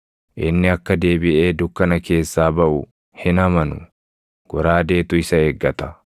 Inni akka deebiʼee dukkana keessaa baʼu hin amanu; goraadeetu isa eeggata.